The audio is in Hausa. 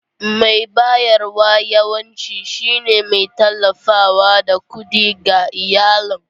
Mai bayarwa yawanci shine mai tallafawa da kuɗi ga iyalin.